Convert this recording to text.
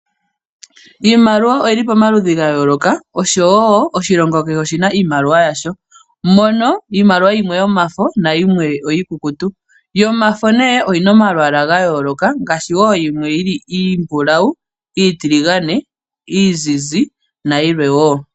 Iimaliwa oyili pamaludhi ga yooloka. Osho wo oshilongo kehe oshina iimaliwa yasho. Mono iimaliwa yimwe yomafo nayimwe iikukutu. Yomafo nee oyina omalwaala ga yooloka ngaashi wo yimwe yili iimbulawu, iitiligane, iizizi nayilwe wo.